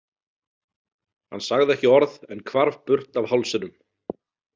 Hann sagði ekki orð en hvarf burt af hálsinum.